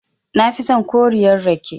Nafi son koriyar rake.